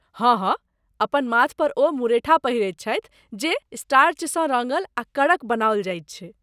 हँ हँ! अपन माथ पर ओ मुरेठा पहिरैत छथि जे स्टार्चसँ रङ्गल आ कड़क बनाओल जाइत छै।